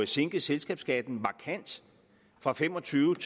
sænke selskabsskatten markant fra fem og tyve